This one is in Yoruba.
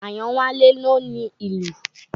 Àyànwálé ló ni lù.